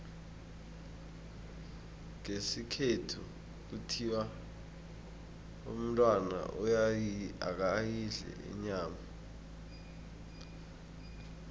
ngesikhethu kuthiwa umntwana akayidli inyama